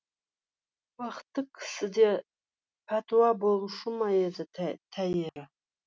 бақытты кісіде пәтуа болушы ма еді тәйірі